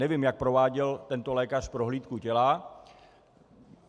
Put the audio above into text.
Nevím, jak prováděl tento lékař prohlídku těla.